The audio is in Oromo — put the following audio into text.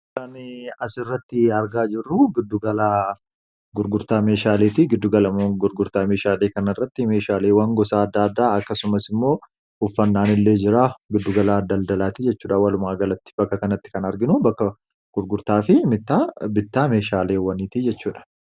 Kan as irratti argaa jirru gurgurtaa meeshaaleeti giddugala gurgurtaa meeshaalee kan irratti meeshaaleewwan gosaa adda addaa akkasumas immoo uffannaan illee jira giddugalaa daldalaati jechuudha walumaagalatti bakka kanatti kan arginu bakka gurgurtaa fi mi'a bittaa meeshaalewwaniiti jechuudha.